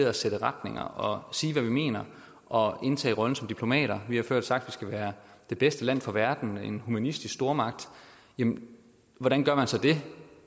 at sætte retninger og sige hvad vi mener og indtage rollen som diplomater vi har før sagt skal være det bedste land for verden en humanistisk stormagt jamen hvordan gør man så det